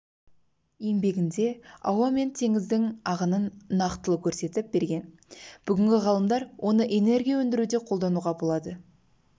еңбегінде ауа мен теңіздің ағынын нақтылы көрсетіп берген бүгінгі ғалымдар оны энергия өндіруде қолдануға болады